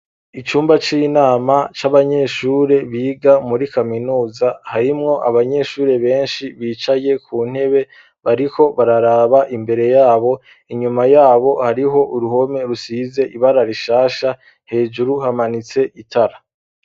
Icumba c'inama c'abanyeshure biga muri kaminuza, harimwo abanyeshure benshi bicaye ku ntebe, bariko bararaba imbere yabo, inyuma yabo hariho uruhome rusize ibara rishasha, hejuru hamanitse itara.